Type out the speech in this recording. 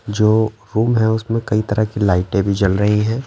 जो रूम हैं उसमें कई तरह की लाइटें भी जल रही हैं।